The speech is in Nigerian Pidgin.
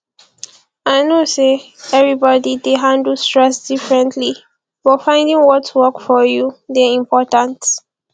i know say everybody dey handle stress differently but finding what work for you dey important